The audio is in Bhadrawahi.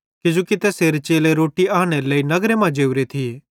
किजोकि तैसेरे चेले रोट्टी आन्नेरे लेइ नगर मां जोरे थिये